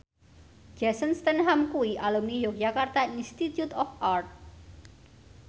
Jason Statham kuwi alumni Yogyakarta Institute of Art